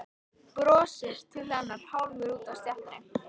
Brosir til hennar hálfur úti á stéttinni.